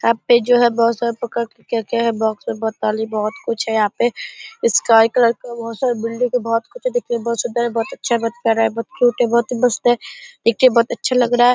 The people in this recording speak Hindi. पे जो है बहुत सारे बॉक्स मे पहले ही बहुत कुछ है यहाँ पे स्काई कलर का बहुत सारा बिल्डिंग है बहुत कुछ है दिखने मे बहुत सुंदर है बहुत अच्छा है बहुत प्यारा है बहुत क्यूट है बहुत ही मस्त है देखने में बहुत ही अच्छा लग रहा है |